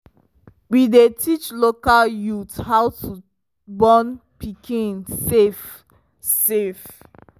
we dey teach local youth how to born pikin safe safe